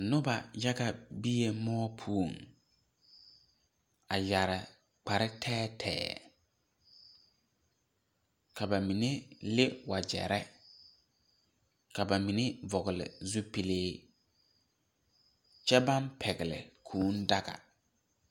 Nobɔ yaga bee moɔ poɔŋ a yɛre kpare tɛɛtɛɛ ka ba mine le wogyɛrre ka ba mine vɔgle zupilee kyɛ baŋ pɛgle daga.